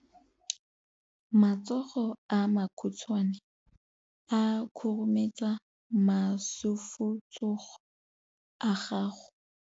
Matsogo a makhutshwane a khurumetsa masufutsogo a gago.